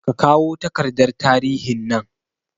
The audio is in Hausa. Kakawo takardar tarihin nan